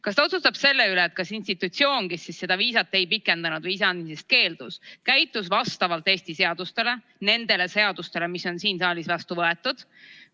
Kas ta otsustab selle üle, et kas institutsioon, kes seda viisat ei pikendanud või viisa andmisest keeldus, käitus vastavalt Eesti seadustele, nendele seadustele, mis on siin saalis vastu võetud?